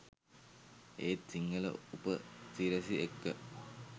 ඒත් සිංහල උපසිරැසි එක්ක